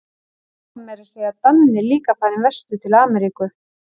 Svo var meira að segja Danni líka farinn vestur til Ameríku.